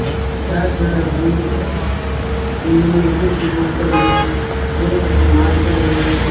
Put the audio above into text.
Dance करण आरो कमरों है ये इन कुर्शी ऊपर भी बोळो सारो सामान पड़े है।